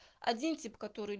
один тип который